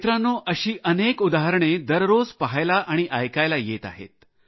मित्रांनो अशी अनेक उदाहरणे दररोज पाहायला आणि ऐकायला येत आहेत